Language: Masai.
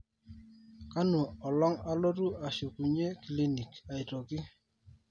kanu olong alotu ashukunye clinic aitoki